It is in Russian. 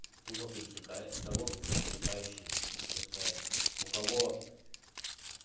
тупо пересекает того по пересекающейся пускаю у кого